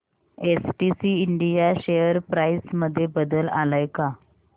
STC India share price मध्ये बदल आलाय का